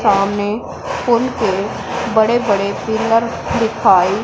सामने पुल के बड़े-बड़े पिलर दिखाई --